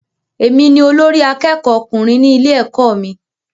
Èmi ni olórí àkẹ́kọ̀ọ ọkùnrin ní ilé ẹ̀kọ́ mí.